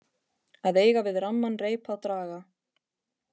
Að eiga við ramman reip að draga